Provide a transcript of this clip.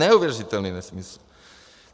Neuvěřitelný nesmysl.